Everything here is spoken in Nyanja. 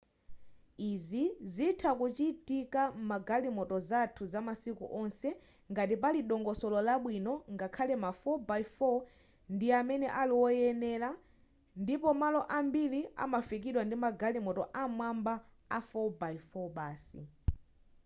izi zitha kuchitika mgalimoto zathu zamasiku onse ngati pali dongosolo labwino ngakhale ma 4x4 ndi amene aliwoyenera ndipo malo ambiri amafikidwa ndimagalimoto am'mwamba a 4x4 basi